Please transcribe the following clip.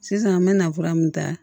Sisan an me na fura min ta